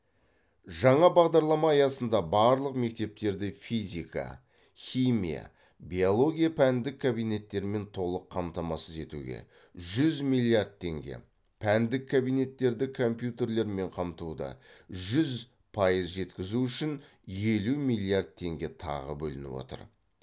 жаңа бағдарлама аясында барлық мектептерді физика химия биология пәндік кабинеттермен толық қамтамасыз етуге жүз миллиард теңге пәндік кабинеттерді компьютерлермен қамтуды жүз пайыз жеткізу үшін елу миллиард теңге тағы бөлініп отыр